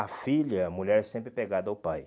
A filha, a mulher é sempre apegada ao pai.